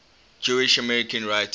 jewish american writers